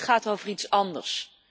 Dit gaat over iets anders.